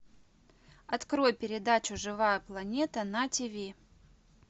открой передачу живая планета на тв